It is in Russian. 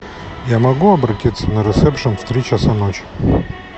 я могу обратиться на ресепшен в три часа ночи